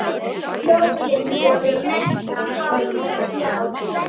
Jólin voru mesta hátíð ársins.